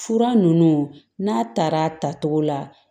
Fura ninnu n'a taara a tacogo la